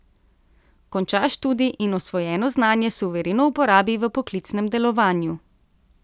Konča študij in osvojeno znanje suvereno uporabi v poklicnem delovanju.